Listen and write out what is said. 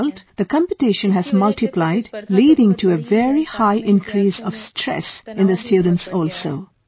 As a result, the competition has multiplied leading to a very high increase of stress in the students also